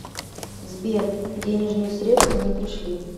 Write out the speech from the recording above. сбер денежные средства не пришли